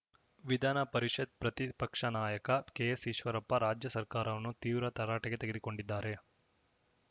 ವಿಧಾನಪರಿಷತ್‌ ಪ್ರತಿಪಕ್ಷ ನಾಯಕ ಕೆಎಸ್‌ಈಶ್ವರಪ್ಪ ರಾಜ್ಯ ಸರ್ಕಾರವನ್ನು ತೀವ್ರ ತರಾಟೆಗೆ ತೆಗೆದುಕೊಂಡಿದ್ದಾರೆ